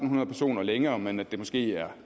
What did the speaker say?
hundrede personer længere men at det måske er